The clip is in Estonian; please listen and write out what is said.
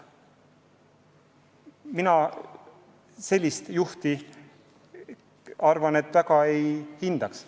Mina sellist juhti väga ei hindaks.